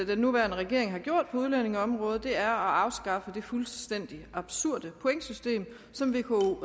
den nuværende regering har gjort på udlændingeområdet er at afskaffe det fuldstændig absurde pointsystem som vko